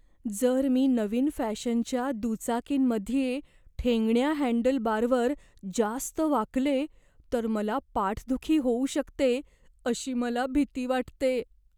जर मी नवीन फॅशनच्या दुचाकींमध्ये ठेंगण्या हँडलबारवर जास्त वाकले तर मला पाठदुखी होऊ शकते अशी मला भीती वाटते.